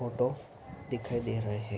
Photo दिखाई दे रहे हैं।